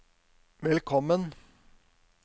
velkommen